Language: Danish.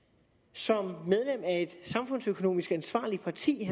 som medlem af et samfundsøkonomisk ansvarligt parti